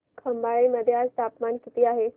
खंबाळे मध्ये आज तापमान किती आहे